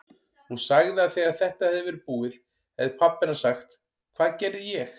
Hún sagði að þegar þetta hefði verið búið hefði pabbi hennar sagt: Hvað gerði ég?